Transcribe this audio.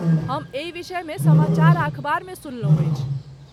हम एहि विषयमे समाचार आ अखबार मे सुनलहुँ अछि।